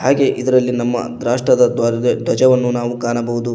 ಹಾಗೆ ಇದರಲ್ಲಿ ನಮ್ಮ ರಾಷ್ಟ್ರದ ಧ್ವರ ಧ್ವಜವನ್ನು ಕಾಣಬಹುದು.